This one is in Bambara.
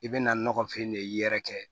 I bɛ na nɔgɔfin de y'i yɛrɛ kɛ